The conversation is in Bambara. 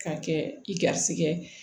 K'a kɛ i garisigɛ ye